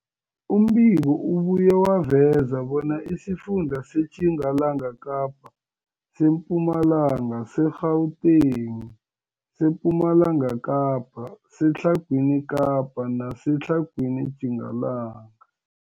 Umbiko ubuye waveza bona isifunda seTjingalanga Kapa, seMpumalanga, seGauteng, sePumalanga Kapa, seTlhagwini Kapa neseTlhagwini Tjingalanga.